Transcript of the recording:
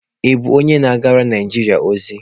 Ị bụ onye na-agara Naijiria ozi?